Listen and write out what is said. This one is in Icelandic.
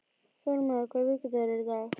Þórmar, hvaða vikudagur er í dag?